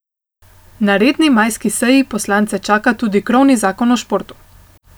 Na redni majski seji poslance čaka tudi krovni zakon o športu.